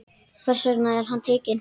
Þess vegna var hann tekinn.